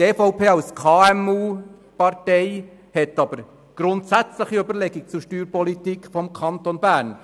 Die EVP als KMU-Partei macht sich aber grundsätzliche Überlegungen zur Steuerpolitik des Kantons Bern.